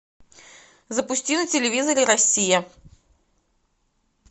запусти на телевизоре россия